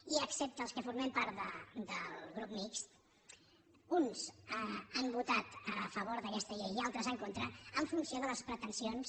i excepte els que formem part del grup mixt uns han votat a favor d’aquesta llei i altres en contra en funció de les pretensions